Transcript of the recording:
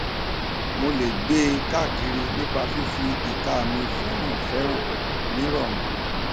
mo lè gbe e káakiri nípa fífi ìka mi fẹrànfèràn ní rọrùn